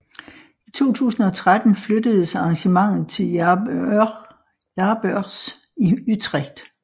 I 2013 flyttedes arrangementet til Jaarbeurs i Utrecht